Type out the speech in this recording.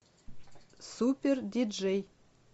супер диджей